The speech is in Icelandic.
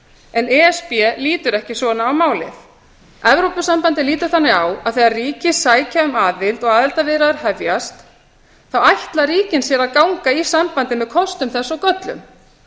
en e s b lítur ekki svona á málið evrópusambandið lítur þannig á að þegar ríki sækja um aðild og aðildarviðræður hefjast ætli ríkin sér að ganga í sambandið með kostum þess og göllum